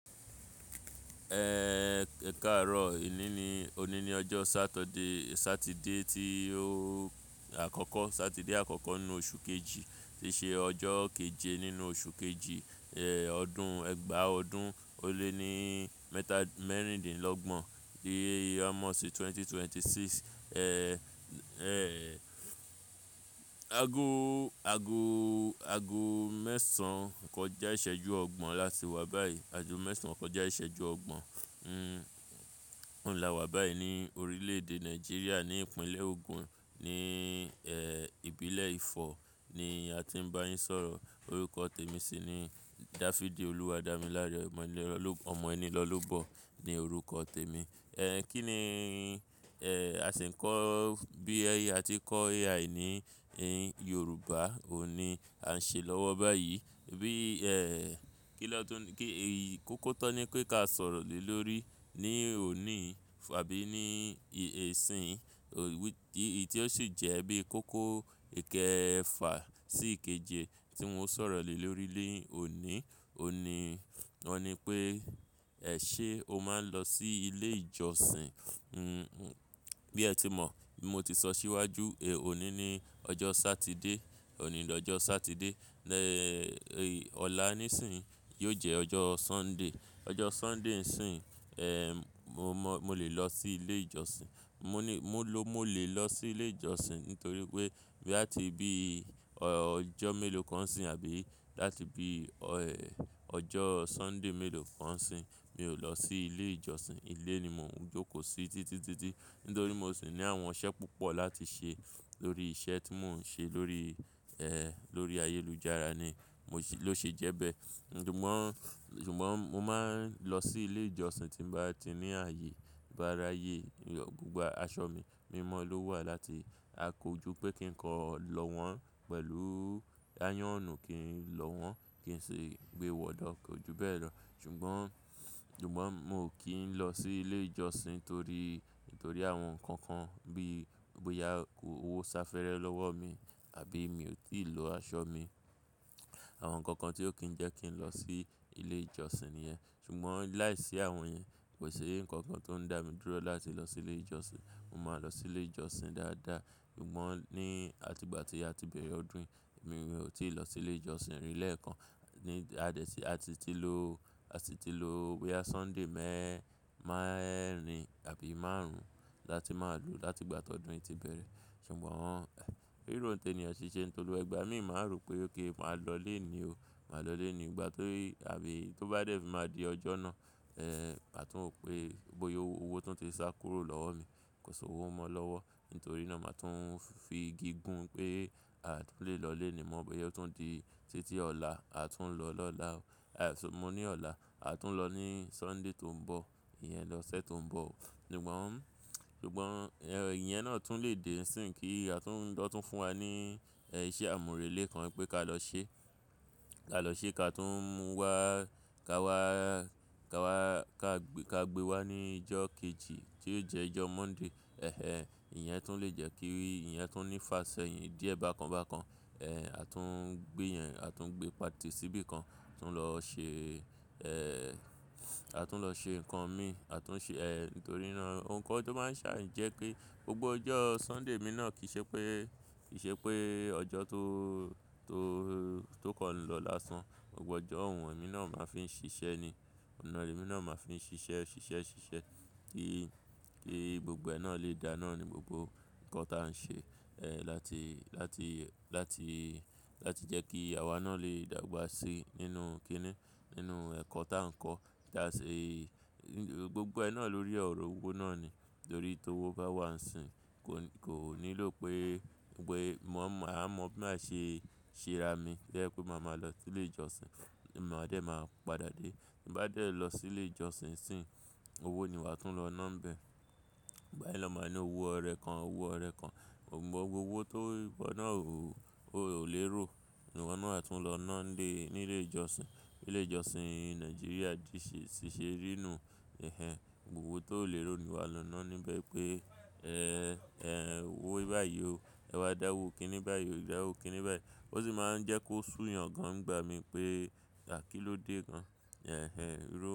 Ẹ káarò èní ní òní ní ọjọ saturday, Sátiídè ti o akọkọ, Sátiídè akọkọ inú oṣù kejì, ti ṣe ọjọ kèjè nínú oṣù kejì, ẹ ọdún ẹgba ọdún o le ni mẹta méríndínlógbòn, èyí táa mòsí 2026. Ágó, ágó, ágó mẹsàn kọjá ísèjú ọgbọn látí wá báyíi, ágó mẹsàn kọjá ísèjú ọgbọn oún lá wá bayíi ní órilé-édè náijíría, ní ípinlẹ ògún, ní ipinlè Ifọ ní á tí n bá yín sọrọ. Òrúkò témí síi ní Dáfídì Olúwádámílárè ọmọ Enílọlóbọ ní òrúkò tèmí. Kí ni a sì ń kọ bí ẹ ti kọ AI ní Yòrúbá, òní à ń ṣe lọ́wọ́ báyìí. Bí è kí lọ́tún kí ì kókó tó ni pé ká sọ̀rọ̀ lé lórí ní òní fá bí ní ìsín, ti ọ sì jẹ́ bí kókó ìkẹfà sí ìkèjé tí mo ń sọ̀rọ̀ lé lórí lé òní, òní, ọ ní pé, "Ẹ ṣé o máa ń lọ sí ilé ìjọsìn?" Bí ẹ ti mọ̀, mo ti sọ síwájú, òní ni ọjọ Sátíidé, òní ni ọjọ Sátíidé, ọ̀la nísìnyí yóò jẹ́ ọjọ Sunday. Ọjọ Sunday nísìnyí, mó mọ, mó lè lọ sí ilé ìjọsìn. Mo ní mo lọ mo lè lọ sí ilé ìjọsìn nítorí pé bí à ti bí ọjọ mélòó kan síbí àbí láti bí ọjọ Sunday mélòó kan síbí, mi ò lọ sí ilé ìjọsìn. Ilé ni mò ń jókòó sí títí títí nítorí mo sì ní àwọn iṣẹ́ púpọ̀ láti ṣe lórí iṣẹ́ tí mò ń ṣe lórí lórí ayélujára ni mo ṣè ló ṣe jẹ́ bẹ́ẹ̀. Ṣùgbọ́n, ṣùgbọ́n mó máa ń lọ sí ilé ìjọsìn tí n bá ti ní ààyè, bá rààyè, gbògbò aṣọ mí mímọ ló wà láti à kó jú pé kí n kọ lọ́ wọ́n pẹ̀lú áyónù kí n lọ́ wọ́n kí sì gbé wọ̀ lọ̀ kó ju bẹ́ẹ̀ lọ. Ṣùgbọ́n, ṣùgbọ́n mó kì í lọ sí ilé ìjọsìn torí, torí àwọn nǹkàn kàn bí bóyá owó sá fẹ́rẹ́ lọ́wọ́ mi àbí mi ò tíì lọ aṣọ mí. Àwọn nǹkàn kàn tí ó kì í jẹ́ kí n lọ sí ilé ìjọsìn nìyẹn. Ṣùgbọ́n láìsí àwọn yẹn kò ṣí nǹkàn kàn tó ń dá mi dúró láti lọ sí ilé ìjọsìn. Mo máa lọ sí ilé ìjọsìn dáadáa. Ṣùgbọ́n ní àti ìgbà tí a ti bẹ̀rẹ̀ ọdún yìí, èmi ò tíì lọ sí ilé ìjọsìn rí lẹ́ẹ̀kan. Ádẹ̀ tí a sí tí lò, a sí tí lo bóyá Sunday mẹ́rin àbí márùn-ún láti má lọ láti ìgbà tí ọdún yìí ti bẹ̀rẹ̀. Ṣùgbọ́n rítò tènìyàn kí n ṣẹ́ t'olóun nítorí ígbà mí máa rò pé óké máa lọ ló ni o. Máa lọlé ní ìgbà tó bí àbí tó bá dé tí máa di ọjọ́ náà, àtún mọ̀ pé bóyá owó tún ti sá kúrò lọ́wọ́ mi, kò san owó mọ́ lọ́wọ́. Nítorí náà màa tún fi igi gún pé à lè lọlé ni mọ́ bóyá ó tún di títí ọ̀la, àtún lọ lọ́la o. Mo ní ọ̀la, àtún lọ ní Sunday tó ń bọ̀, ìyẹn lọ́sẹ̀ tó ń bọ̀. Ṣùgbọ́n, ṣùgbọ́n ìyẹn náà tún lè dé nísìnyí kí àtún kọ́ tún fún wa ní iṣẹ́ àmúrelé kan wípé ká lọ ṣe. Ká lọ ṣe ká tún mú wá ká wá, ká wá ká gbé, ká gbé wá ní ọjọ́ kejì tí yóò jẹ́ ọjọ́ Monday. Ẹ̀hẹn. Ìyẹn tún lè jẹ́ kí ìyẹn tún ní ífà ṣẹ́yìn díẹ̀ bákan bákan. Àtún gbé yẹn, àtún gbé pati síbí kan, àtún lọ ṣe àtún lọ ṣe nǹkan mi, àtún ṣe nítorí náà nǹkan tó máa ń ṣàì jẹ́ pé gbògbò ọjọ́ Sunday mi náà kì í ṣe pé, kì í ṣe pé ọjọ́ tó, tó, tó kàn lọ lásán. Ọ̀pọ̀ ọjọ́ òun òun náà máa fi ń ṣiṣẹ́ ni. Èmi náà máa fi ń ṣiṣẹ́, ṣiṣẹ́, ṣiṣẹ́ kí, kí gbògbò ẹ nà lè dáa náà ní, gbògbò nǹkan táa ń ṣe láti, láti, láti, láti jẹ́ kí àwa náà lè dàgbà síi nínú kí ni? Nínú ẹ̀kọ́ táa ń kọ. Tía ṣe gbògbò ẹ náà lórí ọ̀rọ̀ owó náà ni. Nítorí tí owó bá wà níìsín, kò, kò nílò pé pé mò ń mọ̀ mọ́ bí mà ṣe, ṣe rá mí tó jẹ́ pẹ́ màá ma lọ sí ilé ìjọsìn. Ni mò má dé máa padà dé. Bí bà dé lọ sí ilé ìjọsìn sìyí owó ni wà tún lọ ná níbẹ̀. Ìgbà mìíràn máa ní owó ọ̀rẹ́ kàn, owó ọ̀rẹ́ kàn. Ṣùgbọ́n gbògbò owó tó wọ́nà o ò lérò. Ṣùgbọ́n owó náà tún lọ ná dé nílé ìjọsìn. Ilé ìjọsìn ní Nàìjíríà diṣẹ́ ṣiṣẹ́ rínù. Ẹ̀hẹn. Òwò tó ò léèró ni wà lọ ná níbẹ̀ pé owó báyìí o, ẹ wá dá owó kí ní báyìí o, ẹ wá dá owó kí ní báyìí o. Ó sì máa ń jẹ́ kó sù yàn gàn gbà mí pé à kí ló dé gàn. Ẹ̀hẹn.